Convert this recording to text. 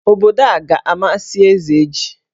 Obodo a ga-amasị Ezeji.